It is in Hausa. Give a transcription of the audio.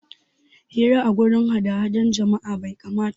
Hira a guraren hadahda jama'a bai kamata ba